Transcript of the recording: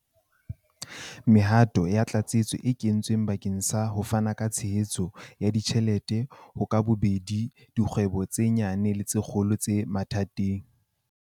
Mehato ya tlatsetso e kentswe bakeng sa ho fana ka tshehetso ya ditjhelete ho ka bobedi dikgwebo tse nyane le tse kgolo tse mathateng.